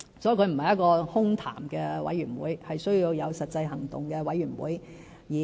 所以，這不是一個空談的委員會，而是需要有實際行動的委員會。